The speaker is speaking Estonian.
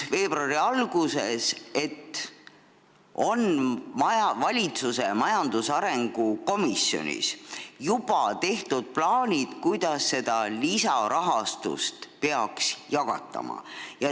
Veebruari alguses selgus, et valitsuse majandusarengu komisjonis on juba tehtud plaanid, kuidas seda lisaraha peaks jagatama.